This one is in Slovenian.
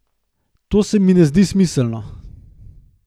To se mi ne zdi smiselno.